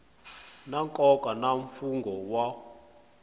na nkoka na mfungho wun